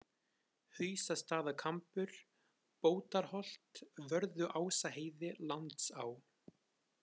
Hausastaðakambur, Bótarholt, Vörðuásaheiði, Landsá